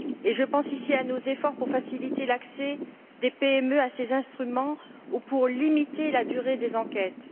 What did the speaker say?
Je pense, ici, à nos efforts pour faciliter l'accès des PME à ces instruments ou pour limiter la durée des enquêtes.